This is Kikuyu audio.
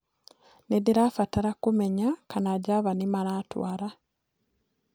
nĩndĩrabatara kumenya kana java nimaratwara